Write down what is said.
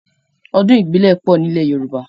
Ọdún ìbílẹ̀ pọ̀ ní ilẹ̀ Yorùbá.